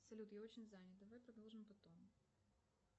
салют я очень занят давай продолжим потом